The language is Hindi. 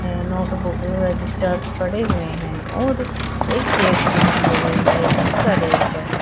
नोटबुक रजिस्टर्स पड़े हुए हैं और एक चेयर्स भी दिखाई दे रही है जिस पर एक जन--